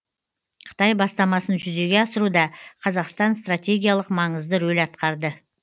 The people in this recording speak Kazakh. қытай бастамасын жүзеге асыруда қазақстан стратегиялық маңызды рөл атқарды